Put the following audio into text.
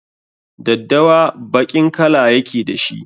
Daddawa baƙin kala ya ke da shi.